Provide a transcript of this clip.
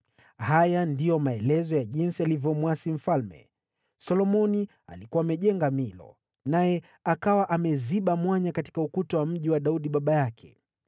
Haya ndiyo maelezo ya jinsi alivyomwasi mfalme: Solomoni alikuwa amejenga Milo naye akawa ameziba mwanya katika ukuta wa mji wa Daudi baba yake.